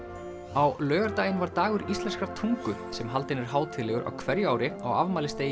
á laugardaginn var dagur íslenskrar tungu sem haldinn er hátíðlegur á hverju ári á afmælisdegi